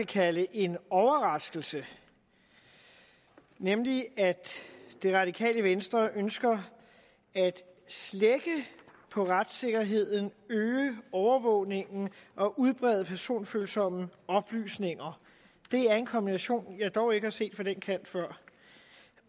kalde en overraskelse nemlig at det radikale venstre ønsker at slække på retssikkerheden øge overvågningen og udbrede personfølsomme oplysninger det er en kombination jeg dog ikke har set fra den kant før